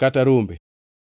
kata rombe.